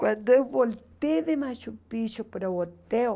Quando eu voltei de Machu Picchu para o hotel,